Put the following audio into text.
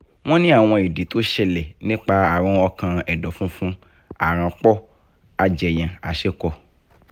wọ́n ni àwọn idi tó ṣẹlẹ̀ nípa àrùn ọkàn ẹ̀dọ̀fùnfùn àránpọ̀ àjẹyàn às̩epo̩